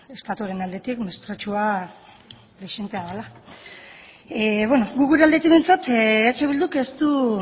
estatuaren aldetik mespretxua dezentea dela guk gure aldetik behintzat eh bilduk ez du